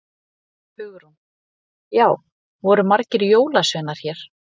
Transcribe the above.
Hugrún: Já, voru margir jólasveinar hér?